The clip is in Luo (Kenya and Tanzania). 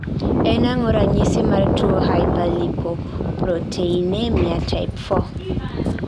En ango ranyisi mar tuo Hyperlipoproteinemia type 4?